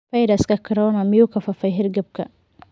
Fayraska corona miyuu ka faafay hargabka?